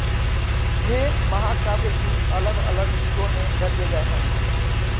ये महाकाव्य भी अलगअलग युगों में रचे गए हैं